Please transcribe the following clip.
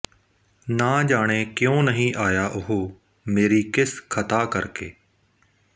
ਨਾ ਜਾਣੇ ਕਿਉਂਂ ਨਹੀਂ ਆਇਆ ਉਹ ਮੇਰੀ ਕਿਸ ਖ਼ਤਾ ਕਰਕੇ